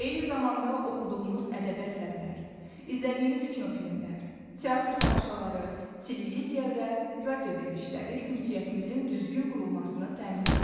Eyni zamanda oxuduğumuz ədəbi əsərlər, izlədiyimiz kinofilmlər, teatr tamaşaları, televiziya və radio verilişləri ünsiyyətimizin düzgün qurulmasını təmin edir.